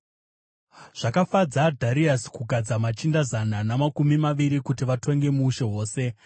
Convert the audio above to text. Zvakafadza Dhariasi kugadza machinda zana namakumi maviri kuti vatonge muushe hwose,